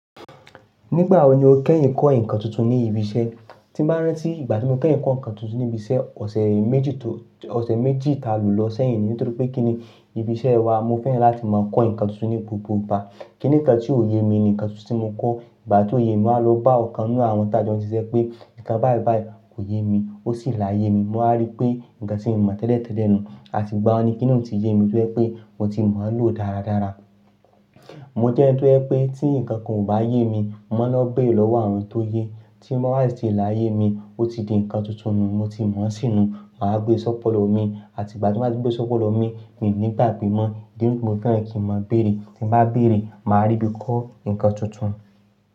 Nígbà wo ni o kẹ́yìn kọ́ nǹkan tuntun ní ibi iṣẹ́? Tí bá rán tí ìgbà tí mo kẹ́yìn kọ́ nǹkan tuntun ní ibi iṣẹ́, ọ̀sẹ̀ méjì tó, ọ̀sẹ̀ méjì ta lò lọ sẹ́yìn nì. Nítorí pé kí ni ibi iṣẹ́ wa, mo fẹ́ràn láti máa kọ́ nǹkan tuntun ní gbogbo ìgbà. Kíni nǹkan tí ò ye mi ni nǹkan tuntun tí mo kọ́. Ìgbà tí ò ye mi, màá lọ bá ọ̀kan nínú àwọn tàjọ́ńjú iṣẹ́ pé, "Nǹkan báyi báyi kò ye mi." Ó sì láyé mi. Mo máa rí pé, nǹkan tí mo mọ̀ tẹ́lẹ̀ tẹ́lẹ̀ nù, à ti gbà oun ní kíni ó ti ye mi dúró pé mo ti mọ̀ ọ́n lò dáradára. Mo jẹ́ ẹni tó jẹ́ pé tí nǹkan kan ò bá ye mi, mò ń lọ bèrè lọ́wọ́ àwọn tó yẹ. Tí mo bá rí tí ì láyé mi, ó ti di nǹkan tuntun nù, mo ti mọ̀ ọ́n sìnù, màá gbe sọ́pọ̀lọ̀ mi. Àti ìgbà tí mo bá ti gbe sọ́pọ̀lọ̀ mi, mí nígbà gbé mọ́, torí tí mo fẹ́ràn kí n máa bèrè. Tí bá bèrè, màá rí bí kọ́ nǹkan tuntun.